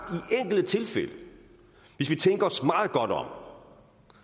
i enkelte tilfælde hvis vi tænker os meget godt om